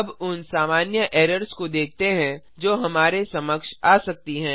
अब उन सामान्य एरर्स को देखते हैं जो हमारे समक्ष आ सकती हैं